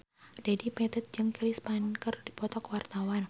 Dedi Petet jeung Chris Pane keur dipoto ku wartawan